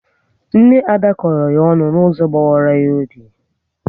Nne Ada kọrọ ya ọnụ n'ụzọ gbawara ya obi